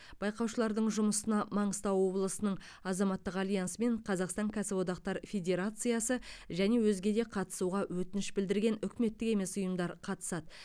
байқаушылардың жұмысына маңғыстау облысының азаматтық альянсы мен қазақстан кәсіподақтар федерациясы және өзге де қатысуға өтініш білдірген үкіметтік емес ұйымдар қатысады